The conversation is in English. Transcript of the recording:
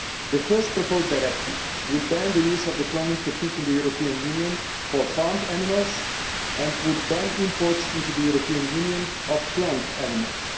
The first proposed directive would ban the use of the cloning technique in the European Union for farmed animals and would ban imports into the European Union of cloned animals.